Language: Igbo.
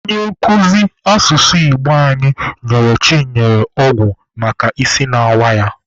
Onye nkuzi asụsụ Igbo anyị nyere Chinenye ọgwụ maka isi na-awa ya.